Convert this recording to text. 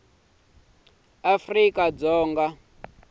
wa afrika dzonga a nga